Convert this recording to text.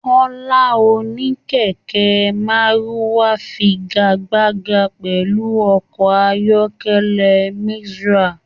Kọla oníkẹkẹ́ maruwa fígagbágà pẹlú ọkọ ayọkẹlẹ Micra.